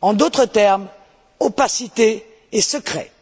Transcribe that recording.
En d'autres termes, opacité et secret.